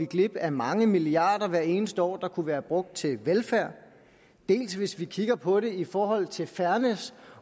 glip af mange milliarder hvert eneste år der kunne være brugt til velfærd dels hvis vi kigger på det i forhold til fairness